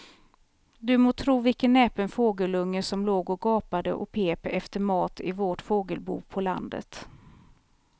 Du må tro vilken näpen fågelunge som låg och gapade och pep efter mat i vårt fågelbo på landet.